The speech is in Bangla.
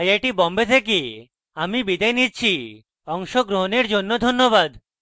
আই আই টী বোম্বে থেকে আমি বিদায় নিচ্ছি অংশগ্রহণের জন্য ধন্যবাদ